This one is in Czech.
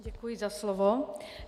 Děkuji za slovo.